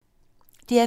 DR P2